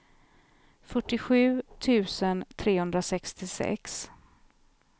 fyrtiosju tusen trehundrasextiosex